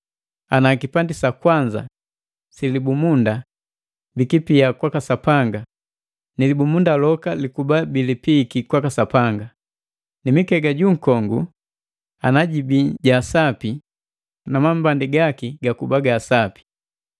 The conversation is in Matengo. Ana kipandi sakwanza silibumunda bikipia kwaka Sapanga, nilibumundu loka ilkuba bilipiiki kwaka sapanga, nimikega junkongu ana jibi jaasapi na mambandi gaki gakuba gaasapi.